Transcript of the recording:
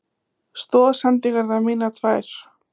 Stoðsendingarnar mínar tvær?